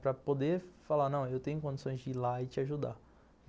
Para poder falar, não, eu tenho condições de ir lá e te ajudar.